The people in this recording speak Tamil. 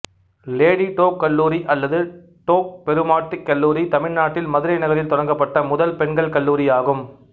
லேடி டோக் கல்லூரி அல்லது டோக் பெருமாட்டி கல்லூரி தமிழ்நாட்டில் மதுரை நகரில் தொடங்கப்பட்ட முதல் பெண்கள் கல்லூரி ஆகும்